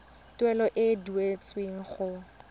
tuelo e e duetsweng go